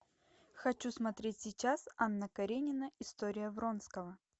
хочу смотреть сейчас анна каренина история вронского